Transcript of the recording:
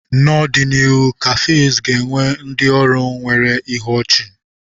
N'ọdịnihu, cafes ga-enwe ndị ọrụ nwere ihu ochi.